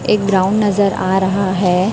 एक ब्राउन नजर आ रहा है।